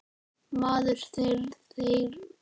Maður þeirrar stundar og gleði.